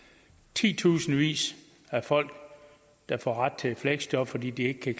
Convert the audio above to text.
titusindvis af folk der får ret til et fleksjob fordi de ikke kan